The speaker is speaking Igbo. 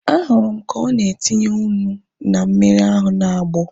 Ahụrụ m ka ọ na-etinye ụnu na mmiri ahu na-agbọ